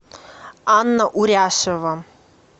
анна уряшева